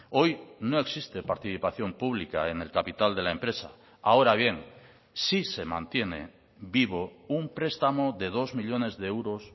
hoy no existe participación pública en el capital de la empresa ahora bien sí se mantiene vivo un prestamo de dos millónes de euros